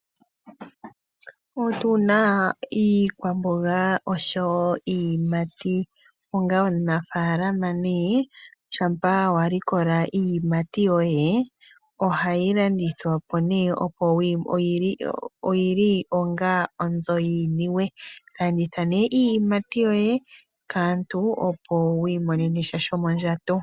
Otuna! iikwaboga oshowo iiyimiti onga onaafalama neg shampa walikola iiyimiti yoye ohayi landithwapo neg, oyili onga onzo yi niiwee landitha ne neg iiyimati yoye kaantu opo wiimonenasha shomodjato.